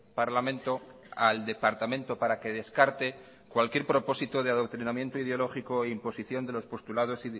parlamento al departamento para que descarte cualquier propósito de adoctrinamiento ideológico e imposición de los postulados